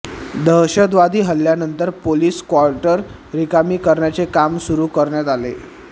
दहशतवादी हल्ल्यानंतर police quarter रिकामी करण्याचे काम सुरु करण्यात आले